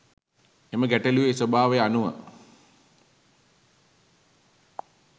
එම ගැටලුවේ ස්වභාවය අනුව